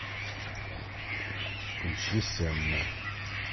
поищи сенна